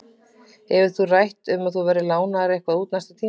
Hefur verið rætt að þú verðir lánaður eitthvað út næsta tímabil?